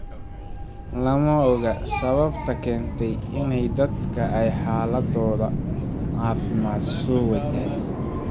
Lama oga sababta keentay in dadkan ay xaaladdooda caafimaad soo wajahdo.